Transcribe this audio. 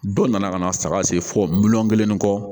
Dɔ nana ka na saga sen fɔ miliyɔn kelen ni kɔ